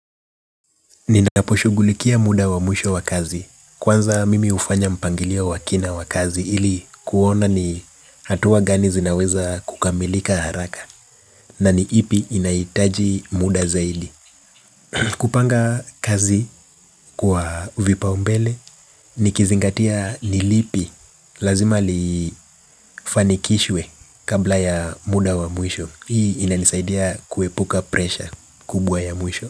Ninaposhugulikia muda wa mwisho wa kazi kwanza mimi hufanya mpangilio wakina wa kazi ili kuona ni hatua gani zinaweza kukamilika haraka. Na ni ipi inahitaji muda zaidi. Kupanga kazi kwa vipaombele nikizingatia ni lipi lazima lifanikishwe kabla ya muda wa mwisho hii inanisaidia kuepuka presha kubwa ya mwisho.